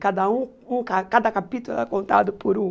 Cada um um ca cada capítulo era contado por um.